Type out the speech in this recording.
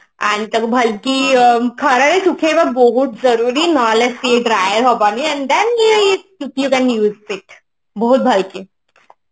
and ତାକୁ ଭଲକି ଖରରେ ସୁଖେଇବା ବହୁତ ଜରୁରୀ ନହଲେ ସିଏ dry ହବନି and then we use it ବହୁତ ଭଲ କି